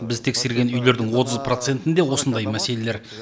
біз тексерген үйлердің отыз процентінде осындай мәселелер